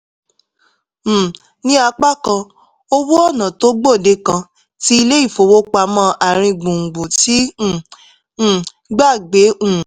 um ní apá kan owó ọ̀nà tó gbòde kan tí ilé-ifowopamọ àárín gbùngbùn ti ń um gbà gbé um